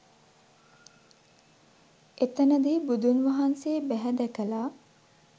එතනදි බුදුන් වහන්සේ බැහැ දැකලා